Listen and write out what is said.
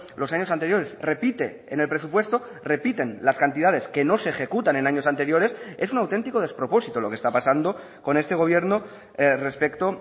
los años anteriores repite en el presupuesto repiten las cantidades que no se ejecutan en años anteriores es un auténtico despropósito lo que está pasando con este gobierno respecto